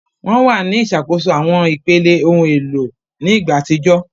Wọn wà ní ìṣàkóso àwọn ipele, ohun èlò ní ìgbà àtijọ́